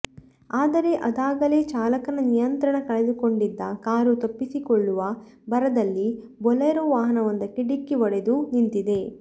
ಆದರೆ ಅದಾಗಲೇ ಚಾಲಕನ ನಿಯಂತ್ರಣ ಕಳೆದುಕೊಂಡಿದ್ದ ಕಾರು ತಪ್ಪಿಸಿಕೊಳ್ಳುವ ಭರದಲ್ಲಿ ಬೊಲೇರೋ ವಾಹನವೊಂದಕ್ಕೆ ಡಿಕ್ಕಿ ಒಡೆದು ನಿಂತಿದೆ